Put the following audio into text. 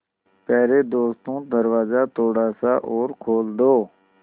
यारे दोस्तों दरवाज़ा थोड़ा सा और खोल दो